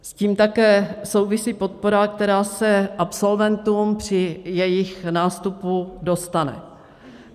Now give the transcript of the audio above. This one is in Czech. S tím také souvisí podpora, která se absolventům při jejich nástupu dostane.